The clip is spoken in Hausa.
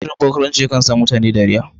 Shirin barkwanci yakan sa mutane dariya.